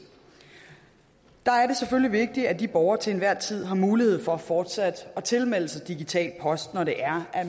selvfølgelig vigtigt at de borgere til enhver tid har mulighed for fortsat at tilmelde sig digital post når det er at